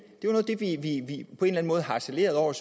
vi på en eller anden måde harcelerede over